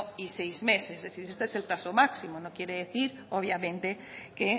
y seis meses es decir este es el plazo máximo no quiere decir obviamente que